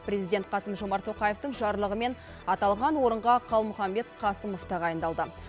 президент қасым жомарт тоқаевтың жарлығымен аталған орынға қалмұханбет қасымов тағайындалды